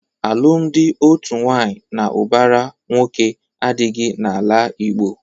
Alụmdi otu nwaanyị na ụbara nwoke adịghị na-ala Igbo.